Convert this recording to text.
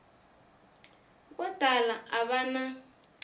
vo tala a va na